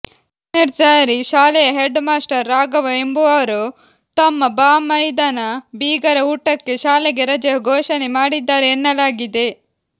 ಎನೆಡ್ಸಾರಿ ಶಾಲೆಯ head master Raghava ಎಂಬುವರು ತಮ್ಮ ಬಾಮೈದನ ಬೀಗರ ಊಟಕ್ಕೆ ಶಾಲೆಗೆ ರಜೆ ಘೋಷಣೆ ಮಾಡಿದ್ದಾರೆ ಎನ್ನಲಾಗಿದೆ